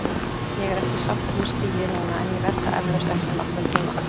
Ég er ekki sáttur með stigið núna en ég verð það eflaust eftir nokkra tíma.